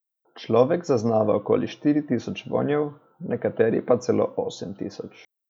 Človek zaznava okoli štiri tisoč vonjev, nekateri pa celo osem tisoč.